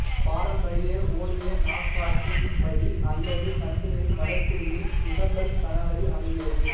பாரம்பரிய ஒடிய நாட்காட்டியின்படி அல்லது சந்திரனின் வளர்பிறையில் திசம்பர்சனவரி அமைகிறது